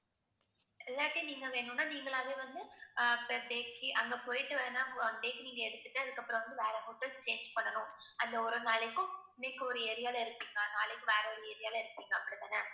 இல்லாட்டி நீங்க வேணும்னா நீங்களாகவே வந்து ஆஹ் per day க்கு அங்க போயிட்டு வேணா one day க்கு நீங்க எடுத்துட்டு அதுக்கப்புறம் வந்து வேற hotel change பண்ணனும். அந்த ஒரு நாளைக்கும் இன்னிக்கு ஒரு area ல இருக்கீங்கன்னா நாளைக்கு வேற ஒரு area ல இருப்பீங்க அப்படித்தானே